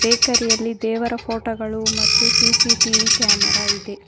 ಎಕರೆ ಯಲ್ಲಿ ದೇವರ ಫೋಟೋ ಗಳು ಮತ್ತು ಸಿ_ಸಿ ಟಿ_ವಿ ಕ್ಯಾಮೆರಾ ಇದೆ.